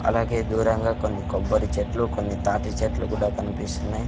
అలాగే దూరంగా కొన్ని కొబ్బరి చెట్లు కొన్ని తాటి చెట్లు కూడా కన్పిస్తున్నాయ్.